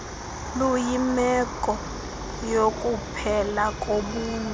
luyimeko yokuphela kobuntu